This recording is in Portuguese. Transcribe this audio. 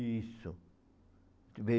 Isso. Em